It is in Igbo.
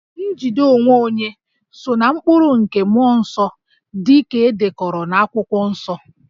Njide onwe onye so ná mkpụrụ nke mmụọ nsọ dị ka e dekọrọ n'Akwụkwọ Nsọ